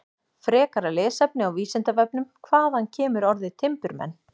Frekara lesefni á Vísindavefnum: Hvaðan kemur orðið timburmenn?